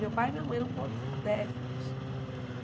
Meu pai e minha mãe eram podrésimos de chique.